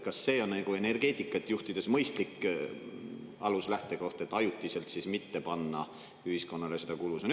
Kas see on energeetikat juhtides mõistlik aluslähtekoht, et ajutiselt mitte panna ühiskonnale seda kulu?